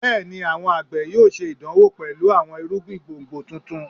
Bẹẹni, awọn agbe yoo ṣe idanwo pẹlu awọn irugbin gbongbo tuntun